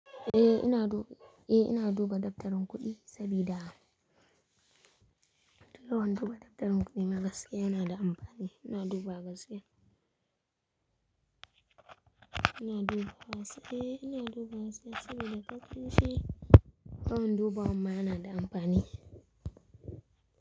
Eh ina duba, eh ina duba dabtarin kuɗi sabida don duba dabtarin kuɗi na gaske yana da amfani. Ina duba gaske. Ina duba gaske, eh ina duba gaske sabida kafin shi don duba wa ma yana da amfani.